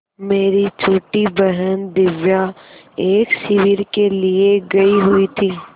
मेरी छोटी बहन दिव्या एक शिविर के लिए गयी हुई थी